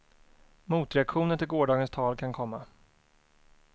Motreaktioner till gårdagens tal kan komma.